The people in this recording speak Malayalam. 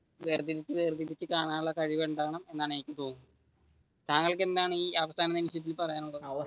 വേർതിരിച്ചു വേർതിരിച്ചു കാണാനുള്ള കഴിവുണ്ടാവണം, എന്നാണ് എനിക്ക് തോന്നുന്നത് താങ്കൾക്ക് എന്താണ് ഈ അവസാന നിമിഷത്തിൽ പറയാനുള്ളത്?